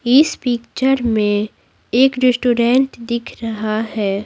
इस पिक्चर में एक रेस्टोरेंट दिख रहा है।